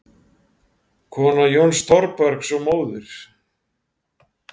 Kona Jóns Thorbergs og móðir